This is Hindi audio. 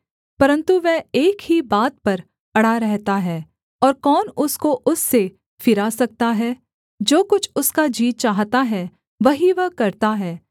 परन्तु वह एक ही बात पर अड़ा रहता है और कौन उसको उससे फिरा सकता है जो कुछ उसका जी चाहता है वही वह करता है